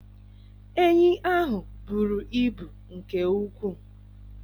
Enyi ahụ buru ibu nke ukwu.